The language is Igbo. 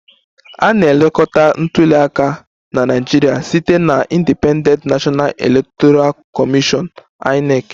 A na-elekọta ntuli aka na Naịjirịa site na Independent National Electoral Commission (INEC)